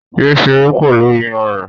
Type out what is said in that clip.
Yé ṣeré pẹ̀lú iyanrìn